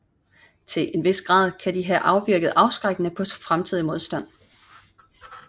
Til en vis grad kan de have virket afskrækkende på fremtidig modstand